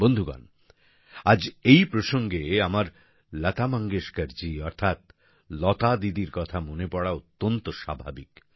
বন্ধুগণ আজ এই প্রসঙ্গে আমার লতা মঙ্গেশকর জী অর্থাৎ লতা দিদির কথা মনে পড়া অত্যন্ত স্বাভাবিক